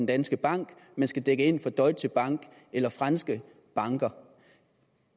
danske bank men skal dække ind for deutsche bank eller franske banker